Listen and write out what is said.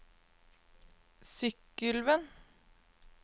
Sykkylven